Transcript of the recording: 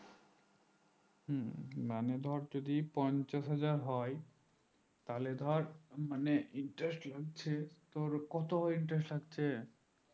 হম মানে ধর যদি পঞ্চাশ হাজার হয় তাহলে ধর মানে interest হচ্ছে ধর কত interest লাগছে